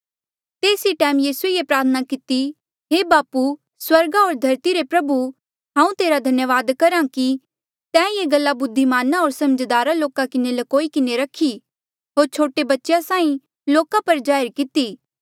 तेस ई टैम यीसूए ये प्रार्थना किती हे बापू स्वर्गा होर धरती रे प्रभु हांऊँ तेरा धन्यावाद करहा कि तैं ये गल्ला बुद्धिमाना होर समझदारा लोका ले ल्कोई किन्हें रखी होर छोटे बच्चेया साहीं लोका पर जाहिर किती